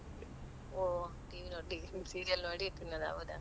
ಓಹ್ TV ನೋಡಿ serial ನೋಡಿ ತಿನ್ನುದಾ?